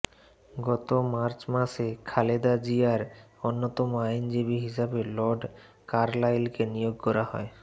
গত মার্চ মাসে খালেদা জিয়ার অন্যতম আইনজীবী হিসেবে লর্ড কার্লাইলকে নিয়োগ করা হয়